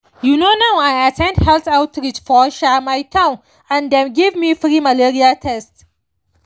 you know now i at ten d health outreach for um my town and dem give me free malaria test.